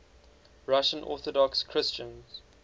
russian orthodox christians